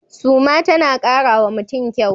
Suma tana kara wa mutum kyau.